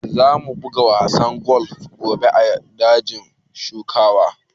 Za mu buga wasan golf gobe a dajin shaƙatawa